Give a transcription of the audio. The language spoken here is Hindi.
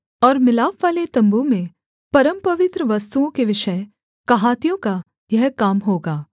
और मिलापवाले तम्बू में परमपवित्र वस्तुओं के विषय कहातियों का यह काम होगा